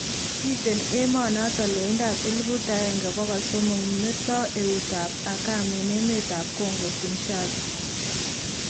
miten emanaton loindap elipuut agenge pogol somok meto eutap akam en emet ap Kongo, Kinshaza